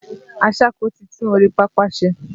Aṣáko ti tún orí pápá ṣe.